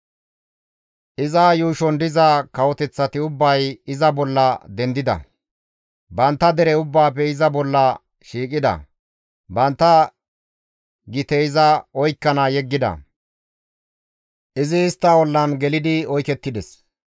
Iza yuushon diza kawoteththati ubbay iza bolla dendida; bantta dere ubbaafe iza bolla shiiqida; bantta gite iza oykkana yeggida; izi istta ollan gelidi oykettides.